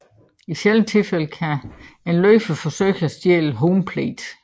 I sjældne tilfælde kan en løber forsøge at stjæle home plate